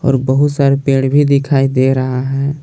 और बहुत सारे पेड़ भी दिखाई दे रहा है।